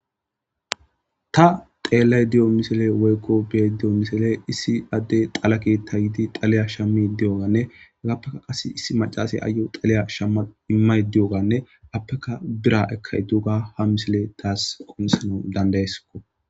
ta xeellay diyo misele woykko be diyo misele issi adde xalake ta yidi xaliya shammi di7oganne gagappeka qas issi macaasey ayo xaliya shamma immay di7oganne appeka bira ekkay duuga ha misile taas qomsana dandayeskko